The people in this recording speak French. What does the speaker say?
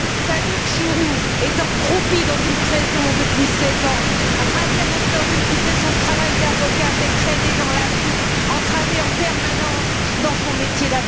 Sadok Chourou croupit dans une prison depuis seize ans, Radia Nasraoui, qui fait son travail d'avocate, est traînée dans la boue, entravée en permanence dans son métier.